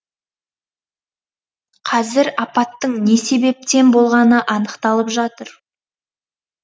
қазір апаттың не себептен болғаны анықталып жатыр